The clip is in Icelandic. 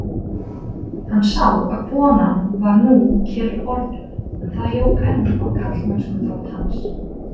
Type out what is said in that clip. Hann sá að konan var nú kyrr orðin, en það jók enn á karlmennskuþrótt hans.